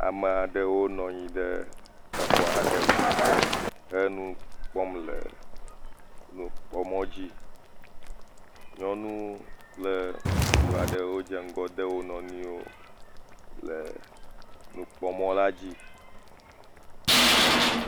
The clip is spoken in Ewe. Ame aɖewo nɔ anyi ɖ exɔ aɖe me he nu kpɔm le nukpɔmɔ dzi. Nyɔnu kple ŋutsu aɖe wo dze ŋgɔ de wo nɔnɔewo le nukpɔmɔ la dzi.